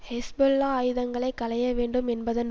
Hezbollah ஆயுதங்களை களையவேண்டும் என்பதன்